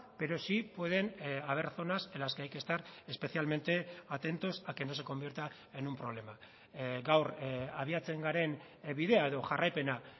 pero sí pueden haber zonas en las que hay que estar especialmente atentos a que no se convierta en un problema gaur abiatzen garen bidea edo jarraipena